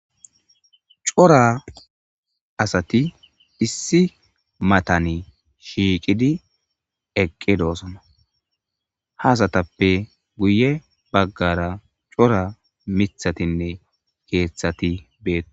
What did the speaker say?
cora asati issi matani shiiqidi eqqe doosona haasatappe guye baggara cora mithatinne keeththati bee